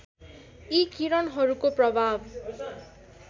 यी किरणहरूको प्रभाव